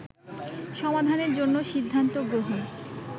সমাধানের জন্য সিদ্ধান্ত গ্রহণ